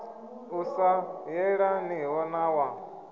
u sa yelaniho na wa